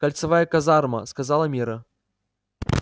кольцевая казарма сказала мирра